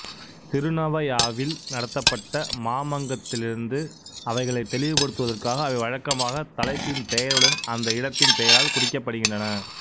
திருநவயாவில் நடத்தப்பட்ட மாமங்கத்திலிருந்து அவைகளைத் தெளிவுபடுத்துவதற்காக அவை வழக்கமாக தலைப்பின் பெயருடன் அந்த இடத்தின் பெயரால் குறிக்கப்படுகின்றன